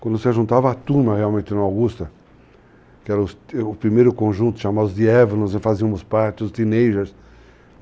Quando se juntava a turma, realmente, no Augusta, que era o primeiro conjunto, chamava os Dievons, nós fazíamos parte, os Teenagers.